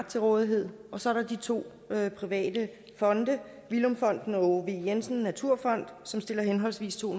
til rådighed og så er der to private fonde villum fonden og aage v jensen naturfond som stiller henholdsvis to